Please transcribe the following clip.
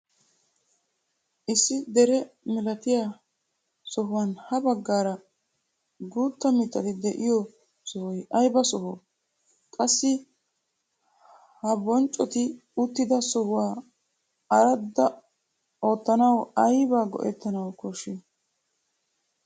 Issi dere milatiyaa sohuwaan ha baggaara guutta mittati de'iyoo sohoy ayba sooho? qassi ha booccoti uttida sohuwaa ardda oottanawu aybaa go"ettanawu kooshshii?